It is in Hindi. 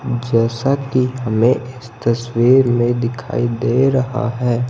जैसा कि हमें इस तस्वीर में दिखाई दे रहा है।